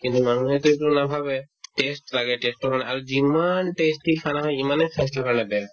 কিন্তু মানুহেতো এইটো নাভাবে test লাগে test ৰ কাৰণে আৰু যিমান tasty khana খাই সিমানে স্বাস্থ্যৰ কাৰণে বেয়া